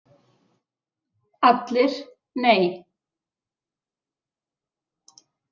ALLIR: Nei!